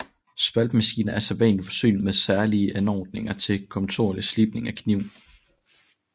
Spaltemaskiner er sædvanlig forsynede med særlige anordninger til kontinuerlig slibning af kniven